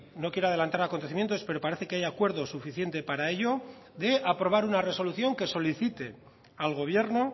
no quiero adelantar acontecimientos pero parece que hay acuerdo suficiente para ello de aprobar una resolución que solicite al gobierno